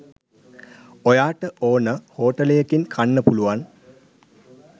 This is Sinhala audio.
ඔයාට ඕන හෝටලයකින් කන්න පුළුවන්